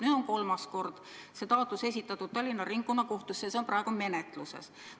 Nüüd on kolmas kord esitatud taotlus Tallinna Ringkonnakohtusse ja see on praegu menetluses.